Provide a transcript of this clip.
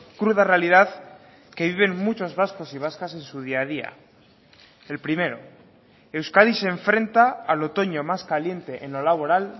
cruda realidad que viven muchos vascos y vascas en su día a día el primero euskadi se enfrenta al otoño más caliente en lo laboral